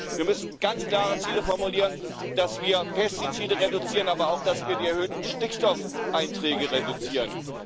Wir müssen ganz klare Ziele formulieren, dass wir Pestizide reduzieren, aber auch, dass wir die erhöhten Stickstoffeinträge reduzieren.